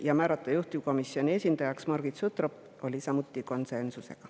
Ja määrata juhtivkomisjoni esindajaks Margit Sutrop – oli samuti konsensus.